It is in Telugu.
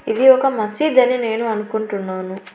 ఇది ఒక మసీదు అని నేను అనుకుంటున్నాను.